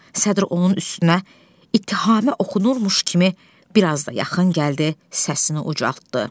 Sədr onun üstünə ittihamı okunurmuş kimi bir az da yaxın gəldi, səsini ucaltdı.